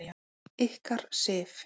Ykkar, Sif.